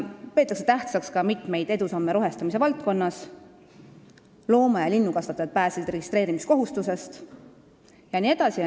Tähtsaks peetakse ka mitmeid edusamme rohestamise valdkonnas, seda, et looma- ja linnukasvatajad pääsesid registreerimiskohustusest jne.